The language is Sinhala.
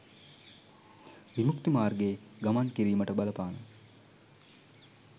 විමුක්ති මාර්ගයේ ගමන් කිරීමට බලපාන